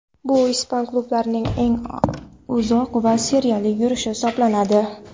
Bu ispan klublarining eng uzoq seriyali yurishi hisoblanadi.